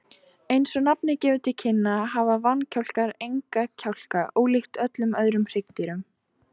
Eins og nafnið gefur til kynna hafa vankjálkar enga kjálka, ólíkt öllum öðrum hryggdýrum.